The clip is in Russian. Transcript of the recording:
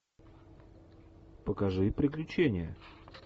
покажи приключения